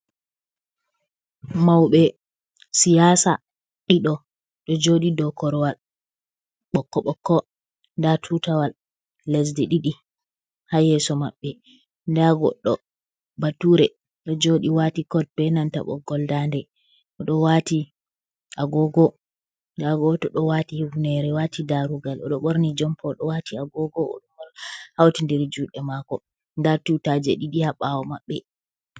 Mawɓe siyaasa ɗiɗo ɗo jooɗi dow korowal ɓokko ɓokko, ndaa tuutawal lesdi ɗiɗi, haa yeeso maɓɓe. Ndaa goɗɗo baature ɗo jooɗi waati kod, be nanta ɓoggol daande, o ɗo waati agoogo. Ndaa gooto ɗo waati hifneere, waati daarugal, o ɗo ɓorni jompa, o ɗo waati agoogo, o ɗo hawtindiri juuɗe maako, ndaa tuutaaje ɗiɗi, haa ɓaawo maɓɓe.